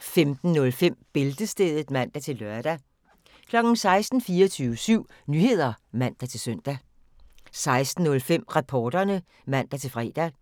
15:05: Bæltestedet (man-lør) 16:00: 24syv Nyheder (man-søn) 16:05: Reporterne (man-fre)